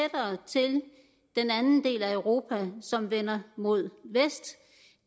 den anden del af europa som vender mod vest